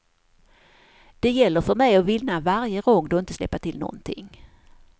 Det gäller för mig att vinna varje rond och inte släppa till någonting.